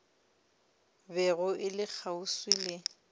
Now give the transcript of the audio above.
bego e le kgauswi le